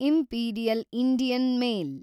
imperial Indian mail